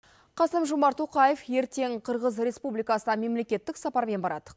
қасым жомарт тоқаев ертең қырғыз республикасына мемлекеттік сапармен барады